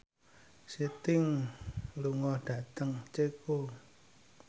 Sting lunga dhateng Ceko